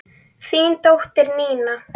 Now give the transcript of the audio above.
Þín dóttir, Nína.